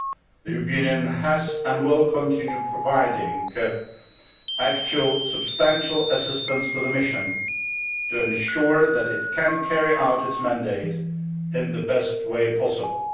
The European Union has provided and will continue providing actual substantial assistance to the mission, to ensure that it can carry out its mandate in the best way possible.